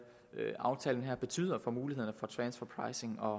aftalen her betyder for mulighederne for transfer pricing og